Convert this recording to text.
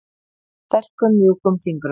Sterkum mjúkum fingrum.